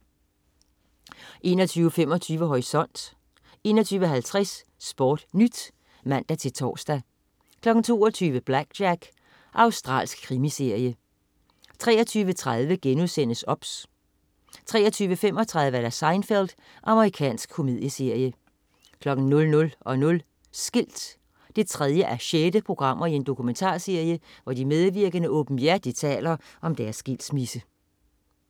21.25 Horisont 21.50 SportNyt (man-tors) 22.00 BlackJack. Australsk krimiserie 23.30 OBS* 23.35 Seinfeld. Amerikansk komedieserie 00.00 Skilt 3:6. Dokumentarserie, hvor de medvirkende åbenhjertigt taler om deres skilsmisse